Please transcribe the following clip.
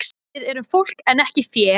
Við erum fólk en ekki fé!